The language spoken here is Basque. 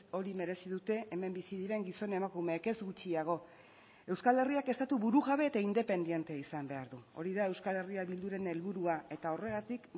hori merezi dute hemen bizi diren gizon emakumeek ez gutxiago euskal herriak estatu burujabe eta independente izan behar du hori da euskal herria bilduren helburua eta horregatik